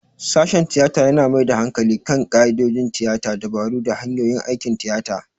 Sashen tiyata yana mai da hankali kan ƙa'idodin tiyata, dabaru, da hanyoyin aikin tiyata.